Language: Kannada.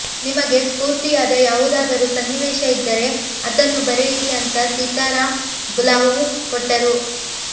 ನಿಮಗೆ ಸ್ಫೂರ್ತಿಯಾದ ಯಾವುದಾದರೂ ಸನ್ನಿವೇಶ ಇದ್ದರೆ ಅದನ್ನೂ ಬರೆಯಿರಿ ಅಂತ ಸೀತಾರಾಂ ಬುಲಾವು ಕೊಟ್ಟರು